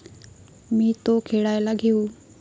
मी तो खेळायला घेऊ?